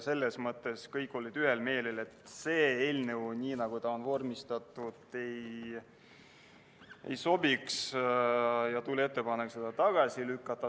Selles mõttes olid kõik ühel meelel, et eelnõu sellisel kujul, nagu ta on vormistatud, ei sobi, ja tuli ettepanek see tagasi lükata.